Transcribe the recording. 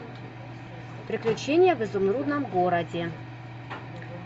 приключения в изумрудном городе